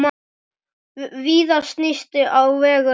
Víða snýst á vegum hér.